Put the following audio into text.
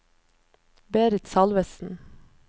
Berit Salvesen